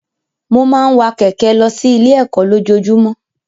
Mo máa ń wa kẹ̀kẹ́ lọ sí ilé ẹ̀kọ́ lójojúmọ́.